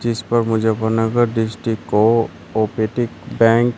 जीस पर मुझे कोऑपरेटिव बैंक --